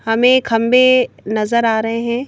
हमें खंबे नजर आ रहे हैं।